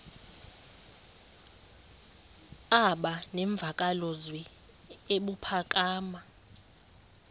aba nemvakalozwi ebuphakama